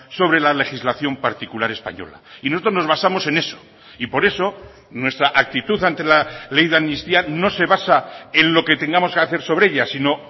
sobre la legislación particular española y nosotros nos basamos en eso y por eso nuestra actitud ante la ley de amnistía no se basa en lo que tengamos que hacer sobre ella sino